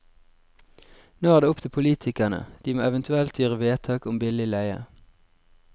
Nå er det opp til politikerne, de må eventuelt gjøre vedtak om billig leie.